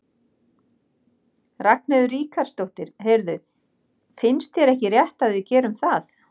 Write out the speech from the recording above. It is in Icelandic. Ragnheiður Ríkharðsdóttir: Heyrðu, finnst þér ekki rétt að við gerum það?